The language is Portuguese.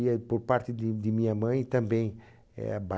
E, por parte de de minha mãe, também Ba